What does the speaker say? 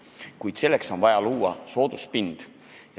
Kuid selleks on vaja luua soodus pind.